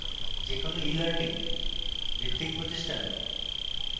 যে কোনো ইelearning ভিত্তিক প্রতিষ্ঠান